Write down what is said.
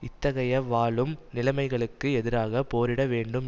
இத்தகைய வாழும் நிலைமைகளுக்கு எதிராக போரிட வேண்டும்